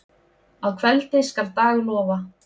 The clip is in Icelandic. Að kveldi skal dag lofa.